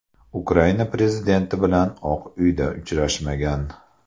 Ukraina prezidenti bilan Oq Uyda uchrashmagan.